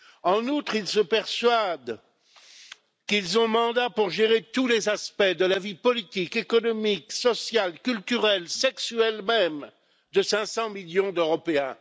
En outre, ils se persuadent qu'ils ont mandat pour gérer tous les aspects de la vie politique, économique, sociale, culturelle, sexuelle même, de 500 millions d'Européens.